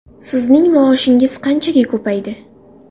Sizning maoshingiz qanchaga ko‘paydi?